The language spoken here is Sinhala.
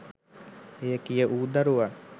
එය කිය වූ දරුවන්